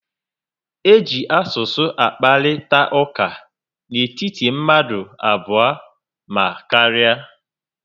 E ji asụsụ akparịta ụka n'etiti mmadụ abụọ ma karịa